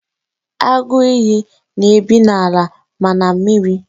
Agụ ìyì na-ebi n'ala ma na mmiri.